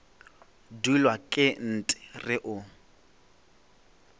dulwa ke nt re o